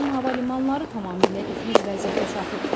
Rusiyanın hava limanları tamamilə iflic vəziyyətə çatıb.